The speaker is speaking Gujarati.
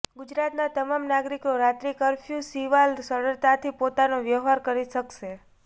ગુજરાતનાં તમામ નાગરિકો રાત્રી કર્ફ્યૂ સિવાલ સરળતાથી પોતાનો વ્યવહાર કરી શકશે